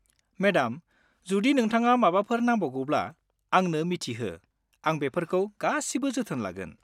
Madam, जुदि नोंथाङा माबाफोर नांबावगौब्ला, आंनो मिथिहो, आं बेफोरखौ गासिबो जोथोन लागोन।